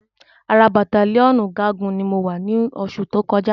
Ara bàttálíọ̀nù ọ̀gágun ni mo wà ni oṣù tó kọjá